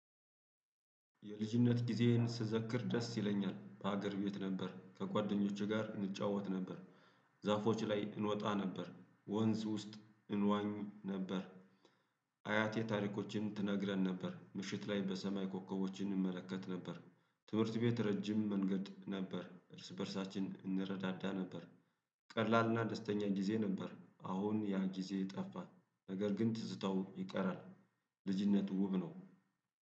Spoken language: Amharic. የልጅነት ጊዜየን ስዘክር ደስ ይለኛል በሀገር ቤት ነበር ከጓደኞቼ ጋር እንጫወት ነበር። ዛፎች ላይ እንወጣ ነበር ወንዝ ውስጥ እንዋኝ ነበር። አያቴ ታሪኮችን ትነግረን ነበር ምሽት ላይ በሰማይ ኮከቦች እንመለከት ነበር። ትምህርት ቤት ረጅም መንገድ ነበር እርስ በእርሳችን እንረዳዳ ነበር። ቀላልና ደስተኛ ጊዜ ነበር። አሁን ያ ጊዜ ጠፋ ነገር ግን ትዝታው ይቀራል። ልጅነት ውብ ነው።